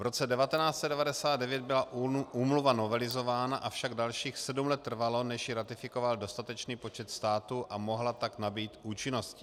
V roce 1999 byla úmluva novelizována, avšak dalších sedm let trvalo, než ji ratifikoval dostatečný počet států a mohla tak nabýt účinnosti.